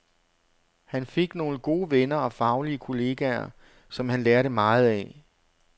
Han fik nogle gode venner og faglige kolleger, som han lærte meget af.